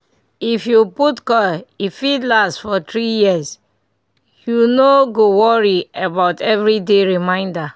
if you put coil e fit last for 3yrs -- u no go worry about everyday reminder